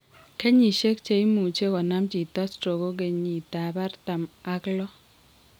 Kenyisiek chemuch konam chito stroke ko kenyit ab artam ak loo